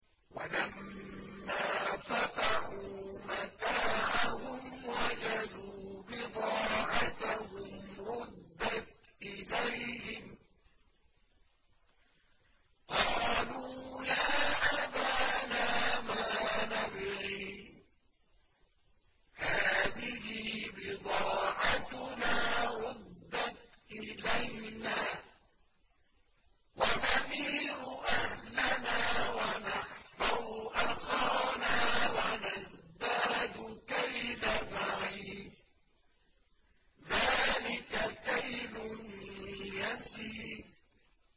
وَلَمَّا فَتَحُوا مَتَاعَهُمْ وَجَدُوا بِضَاعَتَهُمْ رُدَّتْ إِلَيْهِمْ ۖ قَالُوا يَا أَبَانَا مَا نَبْغِي ۖ هَٰذِهِ بِضَاعَتُنَا رُدَّتْ إِلَيْنَا ۖ وَنَمِيرُ أَهْلَنَا وَنَحْفَظُ أَخَانَا وَنَزْدَادُ كَيْلَ بَعِيرٍ ۖ ذَٰلِكَ كَيْلٌ يَسِيرٌ